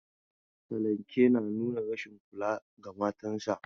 Salanke na nuna rashin kula ga matan sa.